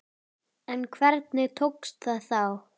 En hvernig tókst það þá?